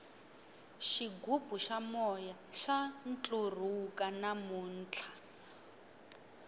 xigubu xa moya xa ntlurhuka namuntlha